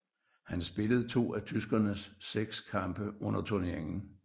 Han spillede to af tyskernes seks kampe under turneringen